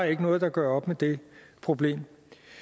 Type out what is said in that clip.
ikke noget der gør op med det problem